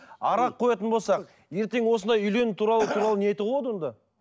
арақ қоятын болсақ ертең осындай үйлену туралы туралы не айтуға болады онда